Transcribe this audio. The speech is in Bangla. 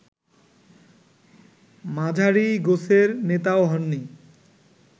মাঝারি গোছের নেতাও হননি